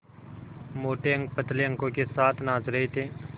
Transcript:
मोटे अंक पतले अंकों के साथ नाच रहे थे